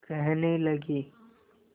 कहने लगे